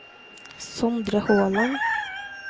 Sondre Håland